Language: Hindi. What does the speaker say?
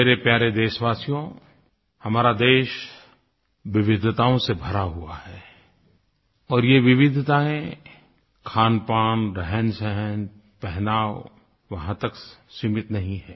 मेरे प्यारे देशवासियो हमारा देश विविधताओं से भरा हुआ है और ये विविधताएँ खानपान रहनसहन पहनाव वहाँ तक सीमित नहीं है